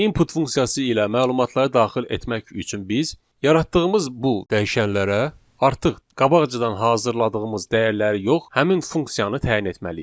Input funksiyası ilə məlumatları daxil etmək üçün biz yaratdığımız bu dəyişənlərə artıq qabaqcadan hazırladığımız dəyərləri yox, həmin funksiyanı təyin etməliyik.